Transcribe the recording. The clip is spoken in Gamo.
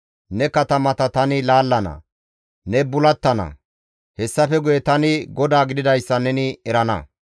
Ne katamata tani laallana; ne bulattana. Hessafe guye tani GODAA gididayssa neni erana.